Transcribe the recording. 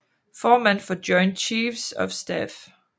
Formand for Joint Chiefs of Staff